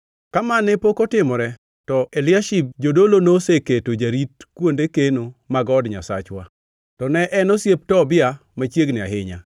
Ka ma ne pok otimore, to Eliashib jodolo noseketi jarit kuonde keno mag od Nyasachwa. To ne en osiep Tobia machiegni ahinya,